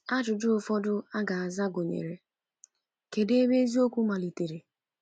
Ajụjụ ụfọdụ a ga-aza gụnyere: Kedụ ebe eziokwu malitere?